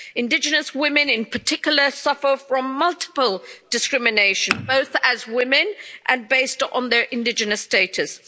Indigenous women, in particular, suffer from multiple discrimination, both as women and based on their indigenous status.